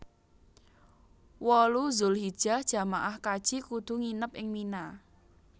wolu Dzulhijjah jamaah kaji kudu nginep ing Mina